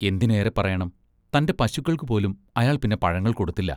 എന്തിനേറെപ്പറയണം, തൻ്റെ പശുക്കൾക്കുപോലും അയാൾ പിന്നെ പഴങ്ങൾ കൊടുത്തില്ല.